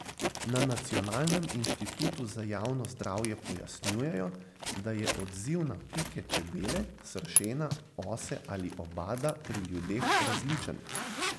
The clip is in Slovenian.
Na Nacionalnem inštitutu za javno zdravje pojasnjujejo, da je odziv na pike čebele, sršena, ose ali obada pri ljudeh različen.